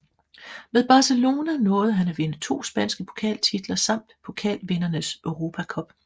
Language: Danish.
Med Barcelona nåede han at vinde to spanske pokaltitler samt Pokalvindernes Europa Cup